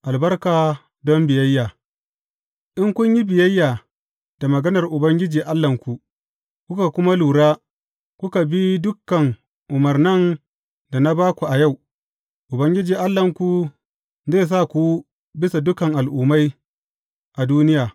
Albarku don biyayya In kun yi biyayya da maganar Ubangiji Allahnku, kuka kuma lura, kuka bi dukan umarnan da na ba ku a yau, Ubangiji Allahnku zai sa ku bisa dukan al’ummai a duniya.